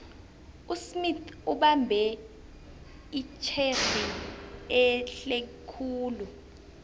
usmith ubambe itjhegi ehlekhulu